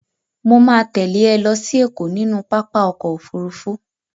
Mo ma tẹ́lẹ̀ ẹ lọ sí Ẹ̀kọ́ nínú pápá ọkọ̀ Òfurufú.